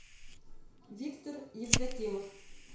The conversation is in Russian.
виктор евдокимов